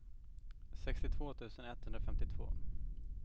sextiotvå tusen etthundrafemtiotvå